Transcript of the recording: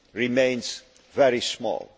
remains very small.